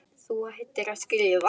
Þú hættir að skrifa.